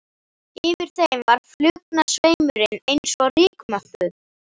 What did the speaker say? Yfir þeim var flugnasveimurinn eins og rykmökkur.